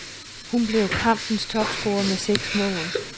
Hun blev kampens topscorer med seks mål.